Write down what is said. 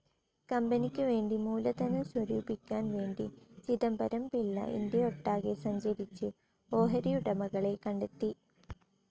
കമ്പനിക്കു വേണ്ടി മൂലധനം സ്വരൂപിക്കാൻ വേണ്ടി, ചിദംബരം പിള്ള ഇന്ത്യയൊട്ടാകെ സഞ്ചരിച്ചു ഓഹരിയുടമകളെ കണ്ടെത്തി.